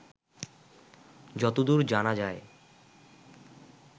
যতদূর জানা যায়